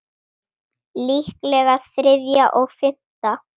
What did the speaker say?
Líklega þriðja og fimmta